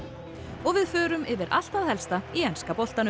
og við förum yfir allt það helsta í enska boltanum